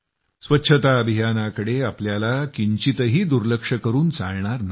स्वच्छता अभियानाकडे आपल्याला जराही दुर्लक्ष करून चालणार नाही